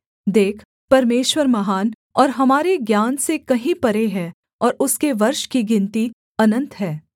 देख परमेश्वर महान और हमारे ज्ञान से कहीं परे है और उसके वर्ष की गिनती अनन्त है